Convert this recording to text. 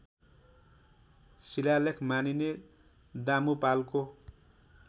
शिलालेख मानिने दामुपालको